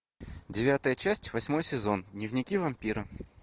девятая часть восьмой сезон дневники вампира